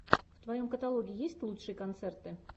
в твоем каталоге есть лучшие концерты